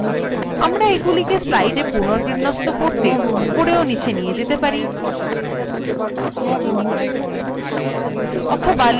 আমরা এগুলিকে slide পুনর্বিন্যস্ত করতে উপরে ও নীচে নিয়ে যেতে পারি